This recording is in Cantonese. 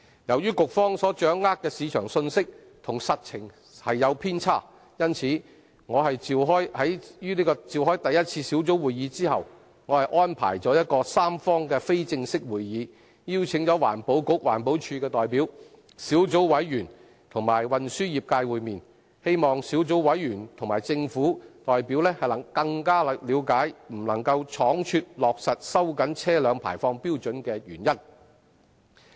由於局方所掌握的市場信息與實情有偏差，在舉行第一次小組委員會會議後，我安排了一個三方非正式會議，邀請了環境局、環保署代表、小組委員及運輸業界會面，希望小組委員和政府代表更了解不能倉卒落實收緊車輛排放標準的原因。